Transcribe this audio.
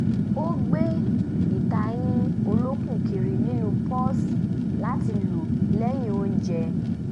ó gbé ìtayín olókùn kiri nínú pọ́ọ̀sì láti lo lẹ́yìn ounjẹ